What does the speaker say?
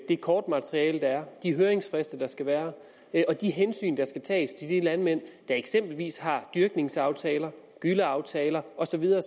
det kortmateriale der er de høringsfrister der skal være og de hensyn der skal tages til de landmænd der eksempelvis har dyrkningsaftaler gylleaftaler og så videre